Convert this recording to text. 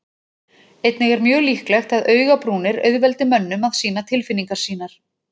Einnig er mjög líklegt að augabrúnir auðveldi mönnum að sýna tilfinningar sínar.